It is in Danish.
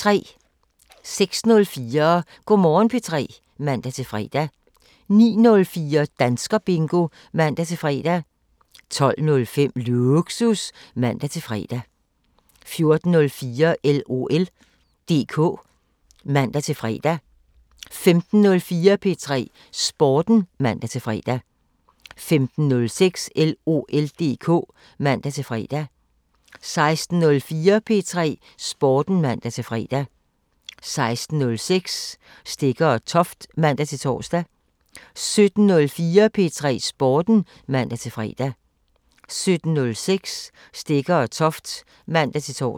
06:04: Go' Morgen P3 (man-fre) 09:04: Danskerbingo (man-fre) 12:05: Lågsus (man-fre) 14:04: LOL DK (man-fre) 15:04: P3 Sporten (man-fre) 15:06: LOL DK (man-fre) 16:04: P3 Sporten (man-fre) 16:06: Stegger & Toft (man-tor) 17:04: P3 Sporten (man-fre) 17:06: Stegger & Toft (man-tor)